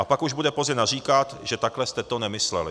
A pak už bude pozdě naříkat, že takhle jste to nemysleli.